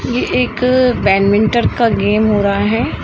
ये एक बैडमिंटन का गेम हो रहा है।